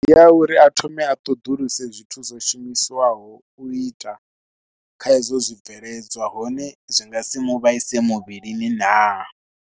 Ndi ya uri a thome a ṱhoḓuluse zwithu zwo shumiswaho u ita kha hedzo zwibveledzwa hone zwi nga si mu vhaise muvhilini naa.